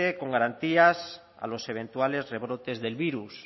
con garantías a los eventuales rebrotes del virus